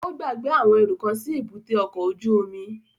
Ó gbàgbé àwọn ẹrú kan sí èbúté ọkọ̀ ojú omi